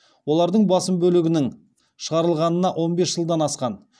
олардың басым бөлігінің шығарылғанына он бес жылдан асқан